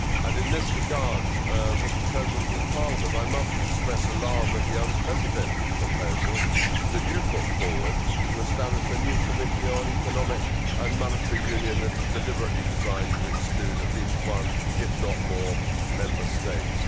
In this regard, Mr President of Parliament, I must express alarm at the unprecedented proposal that you put forward to establish a new committee on economic and monetary union that is deliberately designed to exclude at least one, if not more, Member States.